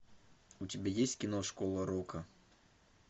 у тебя есть кино школа рока